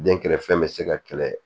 Den kɛrɛfɛ bɛ se ka kɛlɛ